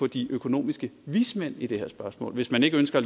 de økonomiske vismænd i det her spørgsmål hvis man ikke ønsker